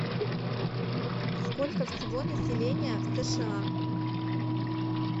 сколько всего населения в сша